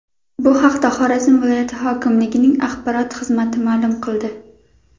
Bu haqda Xorazm viloyati hokimligining axborot xizmati ma’lum qildi .